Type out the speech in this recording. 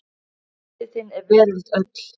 Biti þinn er veröld öll.